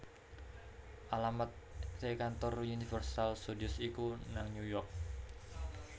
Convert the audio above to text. Alamat e kantor Universal Studios iku nang New York